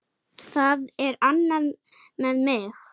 Það er annað með mig.